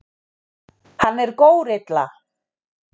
Hann er górilla.